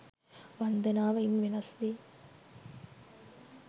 වන්දනාව ඉන් වෙනස් වේ.